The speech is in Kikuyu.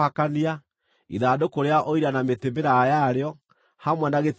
ithandũkũ rĩa Ũira na mĩtĩ mĩraaya yarĩo, hamwe na gĩtĩ gĩa tha;